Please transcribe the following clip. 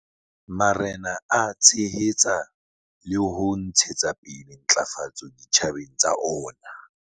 Marena a tshehetsa le hona ho ntshetsa pele ntlafatso ditjhabeng tsa ona.